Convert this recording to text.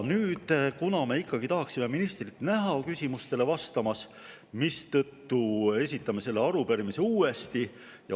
Kuna me ikkagi tahaksime ministrit näha küsimustele vastamas, me esitame selle arupärimise uuesti.